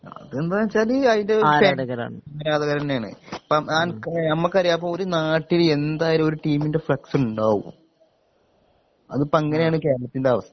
അതെന്താന്ന് വെച്ചാല് അതിന്റെ ആരാധകര് തന്നെയാണ് ഇപ്പം അൻ ഞമ്മക്കറിയാ പ്പൊ ഒരു നാട്ടില് എന്തായാലും ഒരു ടീമിൻ്റെ ഫ്ളക്സ് ണ്ടാവും അത്പ്പങ്ങനെയാണ് കേരളത്തിൻ്റെ അവസ്ഥ